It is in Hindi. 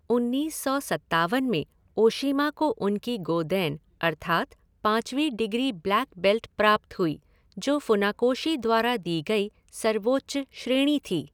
उन्नीस सौ सत्तावन में ओशीमा को उनकी गोदैन अर्थात पांचवी डिग्री ब्लैक बेल्ट प्राप्त हुई, जो फुनाकोशी द्वारा दी गई सर्वोच्च श्रेणी थी।